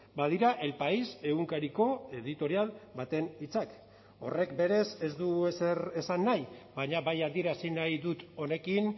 badira el país egunkariko editorial baten hitzak horrek berez ez du ezer esan nahi baina bai adierazi nahi dut honekin